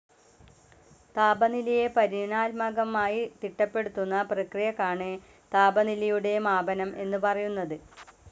താപനിലയെ പരിമാണാത്മകമായി തിട്ടപ്പെടുത്തുന്ന പ്രക്രിയക്കാണ് താപനിലയുടെ മാപനം എന്നു പറയുന്നത്.